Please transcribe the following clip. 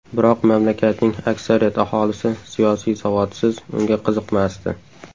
Biroq mamlakatning aksariyat aholisi siyosiy savodsiz, unga qiziqmasdi.